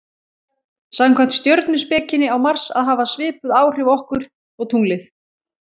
samkvæmt stjörnuspekinni á mars að hafa svipuð áhrif okkur og tunglið